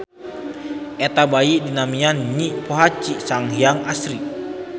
Eta bayi dinamian Nyi Pohaci Sanghyang Asri.